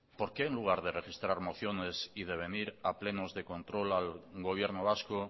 por qué en lugar de registrar mociones y de venir a plenos de control al gobierno vasco